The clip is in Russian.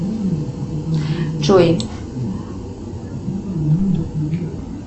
джой